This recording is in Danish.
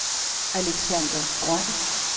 Alexander Grøn